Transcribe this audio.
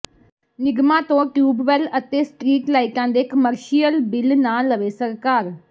ਨਿਗਮਾਂ ਤੋਂ ਟਿਊਬਵੈੱਲ ਅਤੇ ਸਟਰੀਟ ਲਾਈਟਾਂ ਦੇ ਕਮਰਸ਼ੀਅਲ ਬਿੱਲ ਨਾ ਲਵੇ ਸਰਕਾਰ